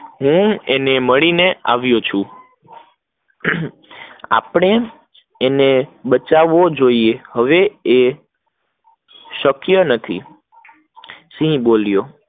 હું એને મળી ને આવ્યો છું, આપડે એને બચ્છવો જોઈએ, હવે એ શક્ય નથી સિંહ બોલ્યો